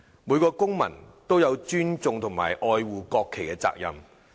每個公民都有尊重和愛護國旗的責任。